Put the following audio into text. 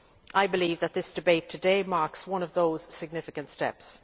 I believe that this debate today marks one of those significant steps.